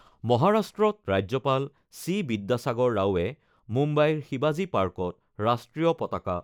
মহাৰাষ্ট্ৰত ৰাজ্যপাল চি বিদ্যাসাগৰ ৰাওৱে মুম্বাইৰ শিৱাজী পাৰ্কত ৰাষ্ট্ৰীয় পতাকা